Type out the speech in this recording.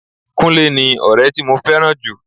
Kúnlé ni ọrẹ tí mo fẹ́ràn jù.